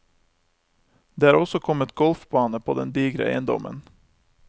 Det er også kommet golfbane på den digre eiendommen.